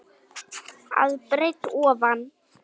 að breidd ofan.